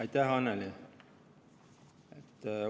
Aitäh, Annely!